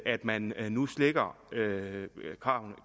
at man nu slækker